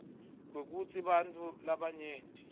kwekutsi bantfu labanyenti